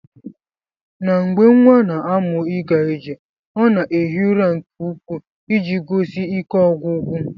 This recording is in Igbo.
Na mgbe nwa na amụ iga ije ọna eghi ụra nke ukwu iji gosi ike ogwugwu.